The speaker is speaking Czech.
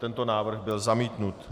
Tento návrh byl zamítnut.